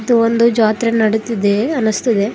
ಇದು ಒಂದು ಜಾತ್ರೆ ನಡಿತಿದೆ ಅನಿಸ್ತದೆ.